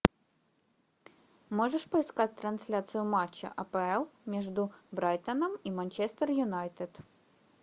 можешь поискать трансляцию матча апл между брайтоном и манчестер юнайтед